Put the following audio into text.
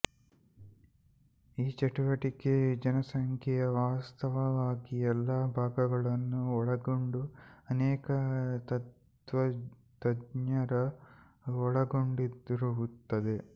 ಈ ಚಟುವಟಿಕೆ ಜನಸಂಖ್ಯೆಯ ವಾಸ್ತವವಾಗಿ ಎಲ್ಲಾ ಭಾಗಗಳನ್ನು ಒಳಗೊಂಡ ಅನೇಕ ತಜ್ಞರು ಒಳಗೊಂಡಿರುತ್ತದೆ